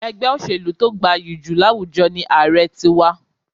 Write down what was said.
Ègbé òṣèlú to gbayì jù láwùjọ ni Ààrẹ ti wa